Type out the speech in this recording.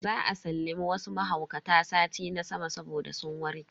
Za a sallami wasu mahaukata sati na sama saboda sun warke.